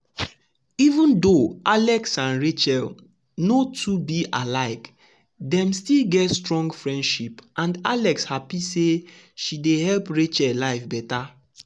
even though alex and rachel no too be alike dem still get strong friendship and alex happy say she dey help rachel life better.